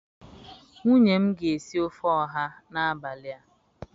nwunye m ga esi ofe oha n'abali a.